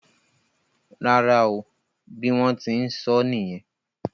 Rárá o. Bí wón tí n sóó nìyen.